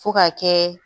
Fo ka kɛ